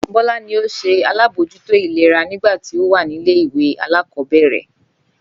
Bólá ni ó se alábójútó ìlera nígbà tí ó wà nílé ìwé alákòóbèrè